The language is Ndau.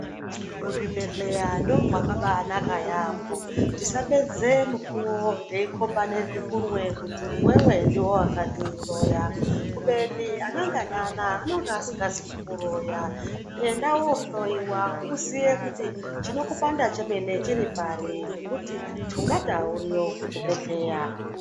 Muzvibhedhleya ndomwakabaaanaka yaampho, tisapedze mukuwo teikhombane zvikunwe kuti iwewe ndiwe wakandiroya, kubeni ana ngana anaya anenge asikazi kukuroya. Enda wohloiwa uziye kuti ,chinokupanda chemene chiri pari, ngekuti thungata uriyo kuchibhedhleya.